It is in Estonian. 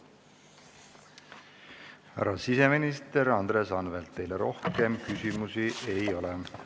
Härra siseminister Andres Anvelt, teile rohkem küsimusi ei ole.